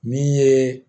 Min ye